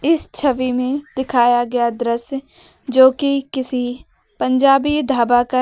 इस छवि में दिखाया गया दृश्य जो कि किसी पंजाबी ढाबा का है।